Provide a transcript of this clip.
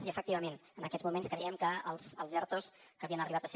i efectivament en aquests moments creiem que els ertos que havien arribat a ser